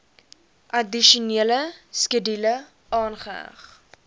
addisionele skedule aangeheg